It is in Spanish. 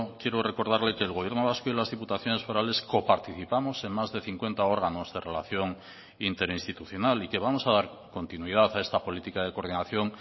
quiero recordarle que el gobierno vasco y las diputaciones forales coparticipamos en más de cincuenta órganos de relación interinstitucional y que vamos a dar continuidad a esta política de coordinación